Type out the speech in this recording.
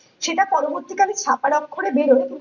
সেটা পরবর্তী কালে ছাপার অক্ষরে বের হয়ে